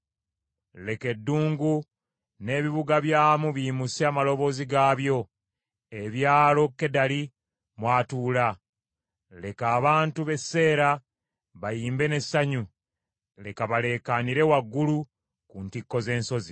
Leka eddungu n’ebibuga byamu biyimuse amaloboozi gaabyo, ebyalo Kedali mw’atuula. Leka abantu b’e Seera bayimbe n’essanyu. Leka baleekaanire waggulu ku ntikko z’ensozi.